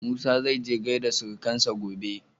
Musa zaije gaida surukansa gobe.